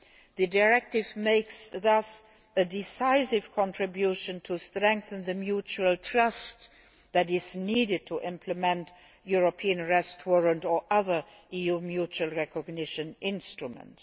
The directive thus makes a decisive contribution to strengthening the mutual trust that is needed to implement the European Arrest Warrant or other EU mutual recognition instruments.